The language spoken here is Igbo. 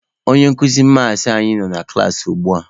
Onye nkuzi maasị anyị nọ na klaasị ugbua.